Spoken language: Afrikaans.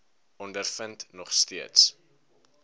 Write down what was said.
ondervind nog steeds